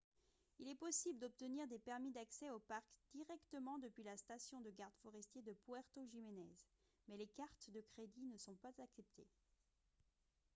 il est possible d'obtenir des permis d'accès au parc directement depuis la station de gardes forestiers de puerto jiménez mais les cartes de crédit ne sont pas acceptées